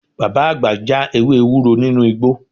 Bàbá àgbà ń já ewé ewúro nínú igbó